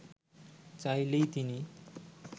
চাইলেই তিনি